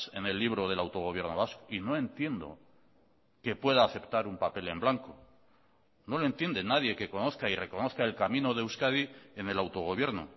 en el libro del autogobierno vasco y no entiendo que pueda aceptar un papel en blanco no lo entiende nadie que conozca y reconozca el camino de euskadi en el autogobierno